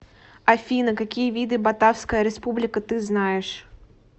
афина какие виды батавская республика ты знаешь